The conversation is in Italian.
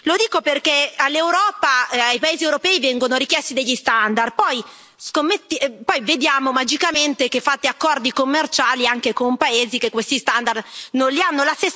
Lo dico perché all'Europa e ai paesi europei vengono richiesti degli standard, e poi vediamo magicamente che fate accordi commerciali anche con paesi che questi standard non li hanno.